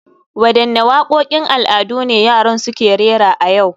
Wadanne wakokin al'adu ne yaran suke rera a yau